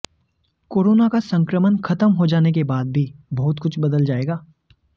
corona का संक्रमण खत्म हो जाने के बाद भी बहुत कुछ बदल जाएगा